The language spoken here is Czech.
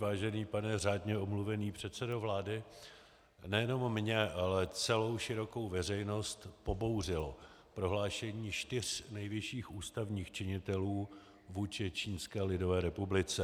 Vážený pane řádně omluvený předsedo vlády, nejenom mě, ale celou širokou veřejnost pobouřilo prohlášení čtyř nejvyšších ústavních činitelů vůči Čínské lidové republice.